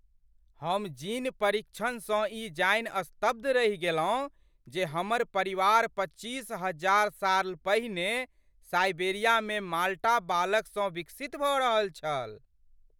हम जीन परीक्षणसँ ई जानि स्तब्ध रहि गेलहुँ जे हमर परिवार पच्चीस हजार साल पहिने साइबेरियामे माल्टा बालकसँ विकसित भऽ रहल छल।